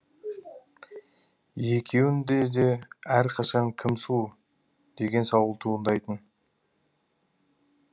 екеуінде де әрқашан кім сұлу деген сауал туындайтын